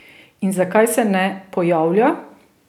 In zakaj se ne pojavlja?